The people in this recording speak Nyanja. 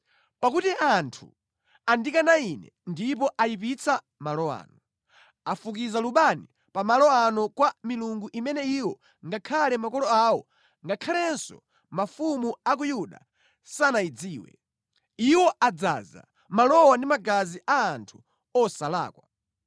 Pakuti anthu andikana Ine ndipo ayipitsa malo ano. Afukiza lubani pa malo ano kwa milungu imene iwo ngakhale makolo awo ngakhalenso mafumu a ku Yuda sanayidziwe. Iwo adzaza malowa ndi magazi a anthu osalakwa.